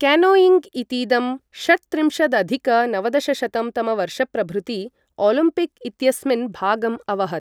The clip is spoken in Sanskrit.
केनोइङ्ग् इतीदं षट्त्रिंशदधिक नवदशशतं तमवर्षप्रभृति ओलिम्पिक् इत्यस्मिन् भागम् अवहत्।